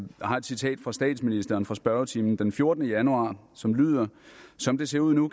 har et citat af statsministeren fra spørgetimen den fjortende januar som lyder som det ser ud nu